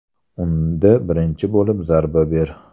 Unda birinchi bo‘lib zarba ber”.